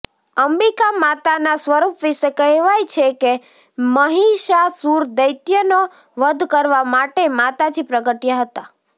અંબિકા માતાના સ્વરૂપ વિશે કહેવાય છે કે મહિષાસુર દૈત્યનો વધ કરવા માટે માતાજી પ્રગટયા હતા